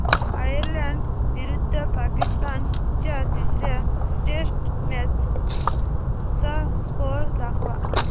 Ireland विरुद्ध पाकिस्तान च्या तिसर्या टेस्ट मॅच चा स्कोअर दाखवा